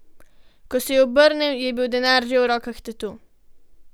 Ko se je obrnil, je bil denar že v rokah tatu.